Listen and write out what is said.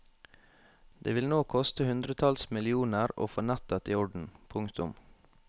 Det vil nå koste hundretalls millioner å få nettet i orden. punktum